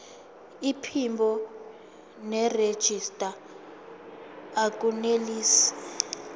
iphimbo nerejista akunelisi